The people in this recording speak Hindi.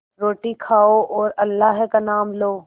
रोटी खाओ और अल्लाह का नाम लो